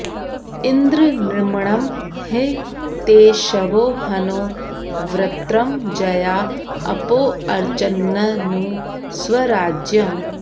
इन्द्र नृम्णं हि ते शवो हनो वृत्रं जया अपोऽर्चन्ननु स्वराज्यम्